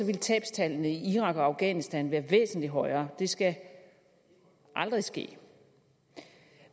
ville tabstallene i irak og afghanistan være væsentlig højere det skal aldrig ske